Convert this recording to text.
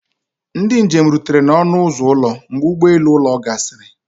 Ndị njem rutere n'ọnụ ụzọ ụlọ mgbe ụgbọ elu ụlọ gasịrị